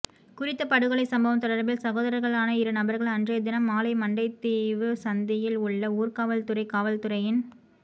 குறித்த படுகொலை சம்பவம் தொடர்பில் சகோதர்களான இரு நபர்கள் அன்றைய தினம் மாலை மண்டைதீவு சந்தியில் உள்ள ஊர்காவற்துறை காவல்துறையின்